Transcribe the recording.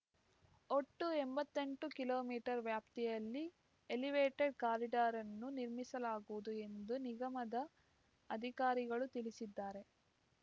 ಒಟ್ಟು ಎಂಬತ್ತೆಂಟು kilometre ವ್ಯಾಪ್ತಿಯಲ್ಲಿ ಎಲಿವೇಟೆಡ್ ಕಾರಿಡಾರ್‌ನ್ನು ನಿರ್ಮಿಸಲಾಗುವುದು ಎಂದು ನಿಗಮದ ಅಧಿಕಾರಿಗಳು ತಿಳಿಸಿದ್ದಾರೆ